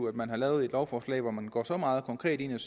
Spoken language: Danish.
at man har lavet et lovforslag hvor man går så meget konkret ind og